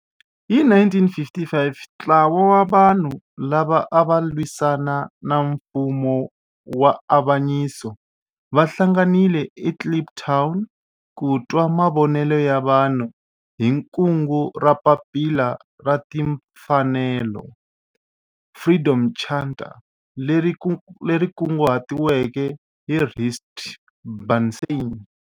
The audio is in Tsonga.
Hi 1955 ntlawa wa vanhu lava ava lwisana na nfumo wa avanyiso va hlanganile eKliptown ku twa mavonelo ya vanhu hi kungu ra Papila ra Tinfanelo, Freedom Charter, leri kunguhatiweke hi Rusty Bernstein.